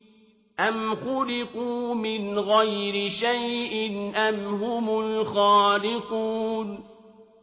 أَمْ خُلِقُوا مِنْ غَيْرِ شَيْءٍ أَمْ هُمُ الْخَالِقُونَ